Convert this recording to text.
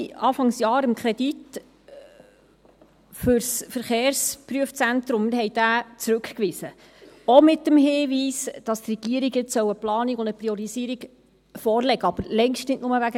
Anfang Jahr wiesen wir den Kredit für das Verkehrsprüfzentrum zurück, auch mit dem Hinweis, die Regierung solle nun eine Planung und eine Priorisierung vorlegen, aber längst nicht nur deswegen.